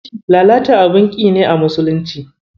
Lalata abun ƙi ne a musulunci.